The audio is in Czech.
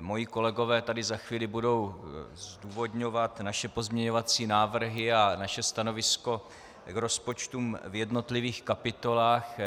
moji kolegové tady za chvíli budou zdůvodňovat naše pozměňovací návrhy a naše stanovisko k rozpočtům v jednotlivých kapitolách.